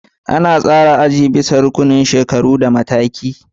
An tsara azuzuwan bisa ga rukunin shekaru da matakin.